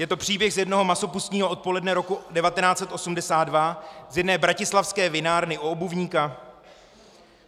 Je to příběh z jednoho masopustního odpoledne roku 1982 z jedné bratislavské vinárny U Obuvníka.